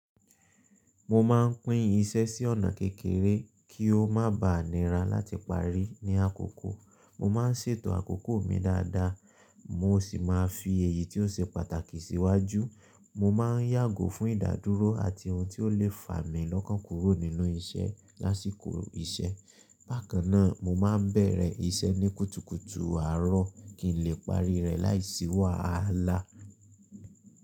Mo má n pín isẹ sí ọ̀nà kékeré kí o má ba nira láti parí ní àkókò. Mo má n ṣètò àkókò mi dada, mo sì má n fi èyí tí ó ṣe pàtàkì síwájú. Mo ma n yàgò fún ìdádúró àti ohun tí ó lè fà mí lọ́kàn kúrò nínú isẹ́ lásìkò isẹ́. Bákan náà, mo ma n bẹ̀rẹ̀ isẹ́ ní kùtùkùtù àárọ̀ kí n lè parí rẹ̀ láìsíwà á àlá.